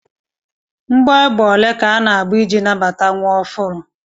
Mgbọ égbè ole ka ana-agba iji nabata nwa ọhụrụ?